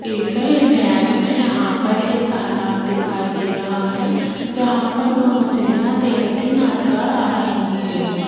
इस इमेज में यहां पर एक तालाब दिखाई दे रहा है जहां पर दो मछलियां तैरती नजर आ रही हैं।